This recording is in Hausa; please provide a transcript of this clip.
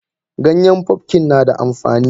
Ganyen pumpkin nada amfani.